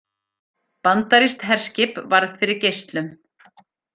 Bandarískt herskip varð fyrir geislum